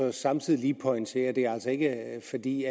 og samtidig lige pointere at det altså ikke er fordi